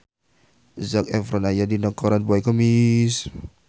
Zac Efron aya dina koran poe Kemis